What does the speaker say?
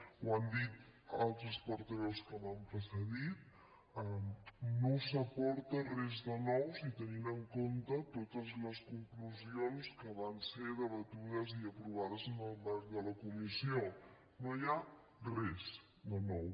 ho han dit altres portaveus que m’han precedit no s’aporta res de nou si tenim en compte totes les conclusions que van ser debatudes i aprovades en el marc de la comissió no hi ha res de nou